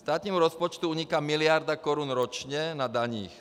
Státnímu rozpočtu uniká miliarda korun ročně na daních.